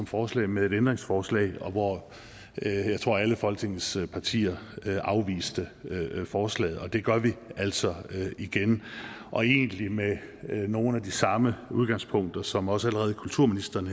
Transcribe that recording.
forslag med et ændringsforslag og hvor jeg tror at alle folketingets partier afviste forslaget det gør vi altså igen og egentlig med nogle af de samme udgangspunkter som også kulturministeren